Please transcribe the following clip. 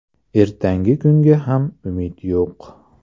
Ertangi kunga ham umid yo‘q.